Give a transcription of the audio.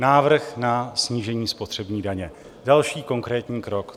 Návrh na snížení spotřební daně, další konkrétní krok.